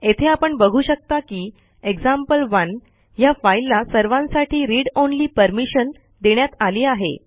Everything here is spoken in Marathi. येथे आपण बघू शकता की एक्झाम्पल1 ह्या फाईलला सर्वांसाठी रीड ऑनली परमिशन देण्यात आली आहे